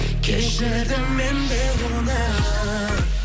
кешірдім мен де оны